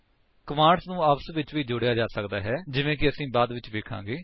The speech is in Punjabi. ਕਮਾਂਡਸ ਨੂੰ ਆਪਸ ਵਿਚ ਜੋੜਿਆ ਵੀ ਜਾ ਸਕਦਾ ਹੈ ਜਿਵੇਂ ਕਿ ਅਸੀ ਬਾਅਦ ਵਿੱਚ ਵੇਖਾਂਗੇ